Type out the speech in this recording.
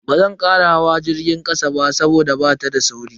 Bazan kara hawa jirgin kasa ba saboda bata da sauri.